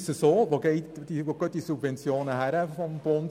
Wohin gehen diese Subventionen des Bundes?